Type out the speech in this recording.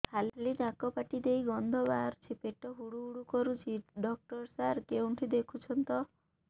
ଖାଲି ନାକ ପାଟି ଦେଇ ଗଂଧ ବାହାରୁଛି ପେଟ ହୁଡ଼ୁ ହୁଡ଼ୁ କରୁଛି ଡକ୍ଟର ସାର କେଉଁଠି ଦେଖୁଛନ୍ତ